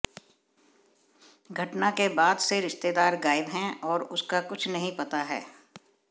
घटना के बाद से रिश्तेदार गायब है और उसका कुछ नहीं पता है